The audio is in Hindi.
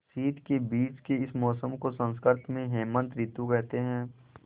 शीत के बीच के इस मौसम को संस्कृत में हेमंत ॠतु कहते हैं